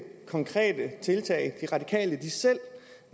konkrete tiltag de radikale selv